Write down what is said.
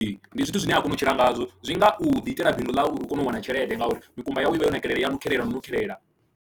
Ndi zwithu zwine a kona u tshila ngazwo zwi nga u ḓiitela bindu ḽau uri u kone u wana tshelede ngauri mikumba yawe i vha yo nakelela, i ya nukhelela na u nukhelela.